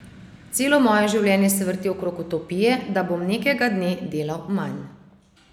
Celo moje življenje se vrti okrog utopije, da bom nekega dne delal manj.